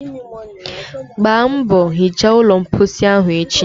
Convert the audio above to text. mgbaa mbọ hichaa ụlọ mposi ahụ echi.!